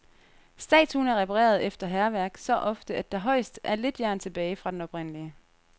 Statuen er repareret efter hærværk så ofte, at der højst er lidt jern tilbage fra den oprindelige.